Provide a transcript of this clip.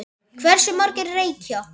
Hversu margir reykja?